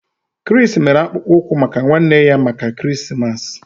Chris mere akpụkpọ ụkwụ maka ụmụnne ya maka Krismas.